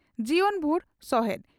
ᱡᱤᱭᱚᱱ ᱵᱷᱩᱨ ᱥᱚᱦᱮᱫ